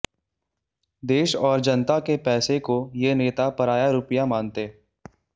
देश और जनता के पैसे को ये नेता पराया रुपया मानते